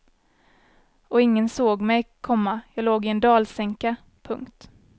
Och ingen såg mig, komma jag låg i en dalsänka. punkt